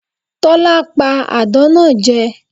Tólá pa àdán náa je